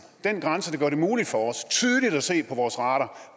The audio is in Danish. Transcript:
den grænse der gør det muligt for os tydeligt at se på vores radar